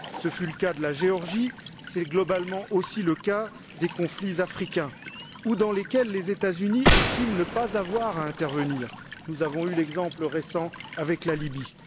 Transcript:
ce fut le cas de la Géorgie, c'est globalement aussi le cas des conflits africains, dans lesquels les États Unis estiment ne pas avoir à intervenir, à l'image de l'exemple récent de la Libye.